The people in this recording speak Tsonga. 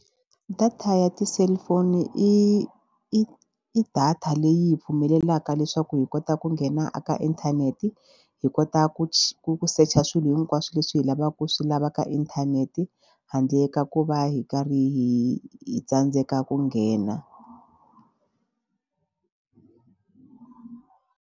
Data ya ti-cellphone i i i data leyi pfumelelaka leswaku hi kota ku nghena eka inthanete hi kota ku ku secha swilo hinkwaswo leswi hi lavaka ku swi lava ka inthanete handle ka ku va hi karhi hi hi tsandzeka ku nghena.